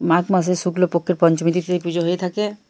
মাঘ মাসে শুক্লপক্ষের পঞ্চমীতে এই পুজো হয়ে থাকে।